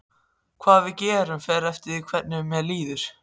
Hvað við gerum fer eftir því hvernig mér líður.